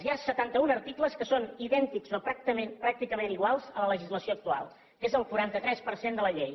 hi ha setanta un articles que són idèntics o pràcticament iguals a la legislació actual que és el quaranta tres per cent de la llei